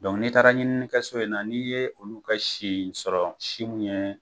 n'i taara ɲininikɛso in na, n'i ye olu ka si sɔrɔ si mun ye